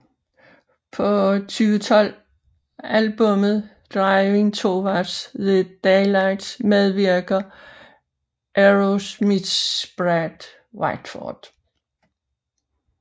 På 2012 albummet Driving Towards the Daylight medvirker Aerosmiths Brad Whitford